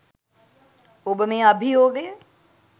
ඔබ මේ අභියෝගය